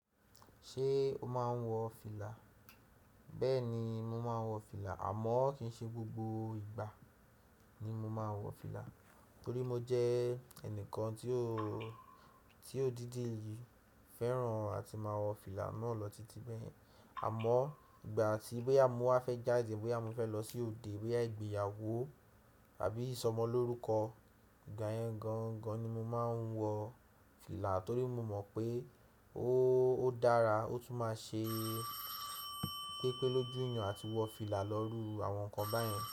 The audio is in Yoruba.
Ṣé o máa ń wọ fìlà? Bẹ́ẹ̀ni mo máa ń wọ fìlà àmọ́ kì í ṣe gbogbo ìgbà ni mo máa ń wọ fìlà torí mo jẹ́ ẹnìkan tí ó, tí ó dídì fẹ́ràn àti máa wọ fìlà náà lọ titi bẹ́yẹ̀n. Àmọ́ọ ìgbà tí boya mo wa fẹ́ jáde, boya mo fẹ́ lọ sí òde, boya igbéyàwó àbí ìsọmọ lórúkọ, ìgbà yẹn gan gan ni mo máa ń wọ fìlà torí mo mọ̀ pé ó odára ó tún máa ṣe pépé lójúyan àti wọ fìlà lọ rú àwọn nǹkan báyẹn.